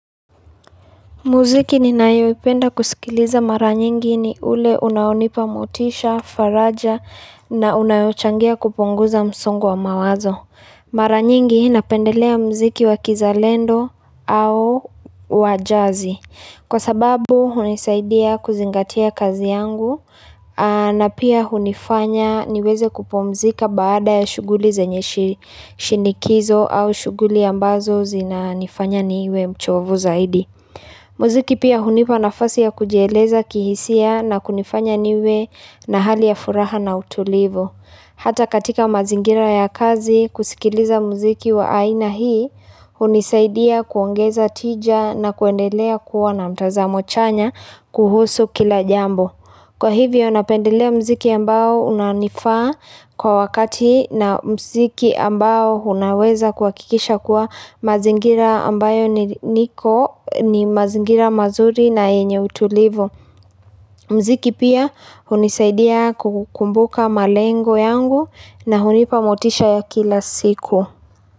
Muziki ninayoipenda kusikiliza mara nyingi ni ule unaonipa mutisha, faraja na unayochangia kupunguza msongo wa mawazo Mara nyingi napendelea mziki wa kizalendo au wa jazi Kwa sababu unisaidia kuzingatia kazi yangu na pia unifanya niweze kupumzika baada ya shuguli zenye shindikizo au shuguli ambazo zinanifanya niwe mchovu zaidi Muziki pia hunipa nafasi ya kujieleza kihisia na kunifanya niwe na hali ya furaha na utulivu Hata katika mazingira ya kazi kusikiliza muziki wa aina hii hunisaidia kuongeza tija na kuendelea kuwa na mtazamo chanya kuhusu kila jambo Kwa hivyo napendelea mziki ambao unanifaa kwa wakati na mziki ambao unaweza kuhakikisha kuwa mazingira ambayo niko ni mazingira mazuri na yenye utulivu. Mziki pia hunisaidia kukumbuka malengo yangu na hunipamotisha ya kila siku.